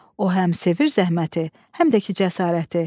O həm sevir zəhməti, həm də ki cəsarəti.